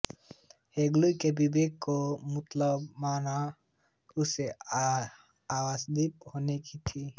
Hegel ने विवेक को मूलतत्व माना उसे आशावादी होना ही था